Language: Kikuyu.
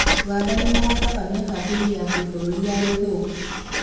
ũganda nĩmaratabania kambĩini ya kĩbũrũri ya gĩthũkũ